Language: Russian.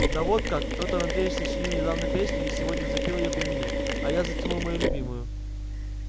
да вот как петр андреич сочинил недавно песню и сегодня запел её при мне а я затянул мою любимую